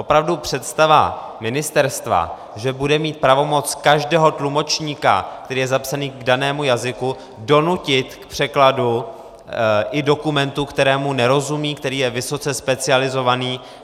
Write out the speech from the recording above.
Opravdu představa ministerstva, že bude mít pravomoc každého tlumočníka, který je zapsaný k danému jazyku, donutit k překladu i dokumentu, kterému nerozumí, který je vysoce specializovaný...